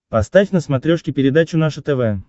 поставь на смотрешке передачу наше тв